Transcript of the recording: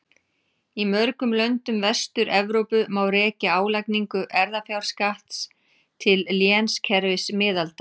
Í mörgum löndum Vestur-Evrópu má rekja álagningu erfðafjárskatts til lénskerfis miðalda.